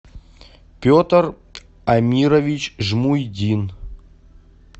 петр амирович жмуйдин